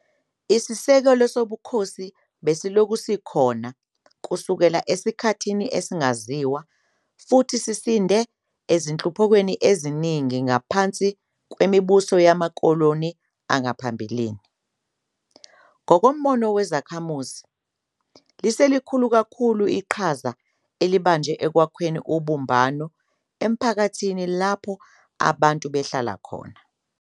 Isisekelo sobukhosi besilokhu sikhona kusukela esikhathini esingaziwa futhi sisinde ezinhluphekweni eziningi ngaphansi kwemibuso yamakoloni yangaphambilini. Ngokombono kwezakhamuzi, liselikhulu kakhulu iqhaza elibanjwe ekwakheni ubumbano emphakathini lapho abantu behlala khona.